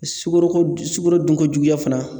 Sukoro ko sugoro dun ko juguya fana